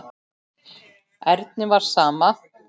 Erni var sama.